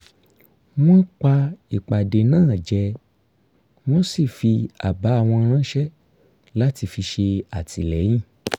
wọ́n pa ìpàdé náà jẹ wọ́n sì fi àbá wọn ránṣẹ́ láti fi ṣè àtìlẹ́yìn